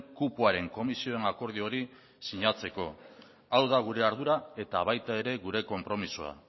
kupoaren komisioen akordio hori sinatzeko hau da gure ardura eta baita ere gure konpromisoa